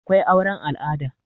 akwai auren al'ada